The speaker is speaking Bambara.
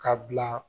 Ka bila